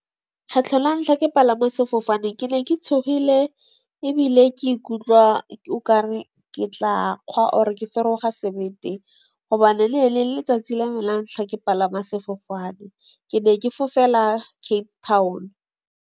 Kgetlho la ntlha ke palama sefofane, ke ne ke tshogile ebile ke ikutlwa okare ke tla kgwa or ke feroga sebete gobane le le letsatsi la me la ntlha ke palama sefofane ke ne ke fofela Cape Town.